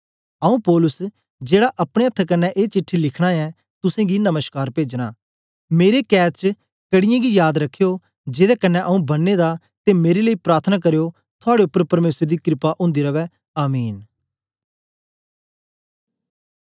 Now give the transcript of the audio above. आऊँ पौलुस जेड़ा अपने अथ्थ कन्ने ए चिट्ठी च लिखे दे तुसेंगी नमश्कार पेजना मेरे कैद च कड़ीयें गी जाद रखयो जेदे कन्ने आऊँ बन्ने दा ते मेरे लेई प्रार्थना करयो थुआड़े उपर परमेसर दी क्रपा ओंदी रवै आमीन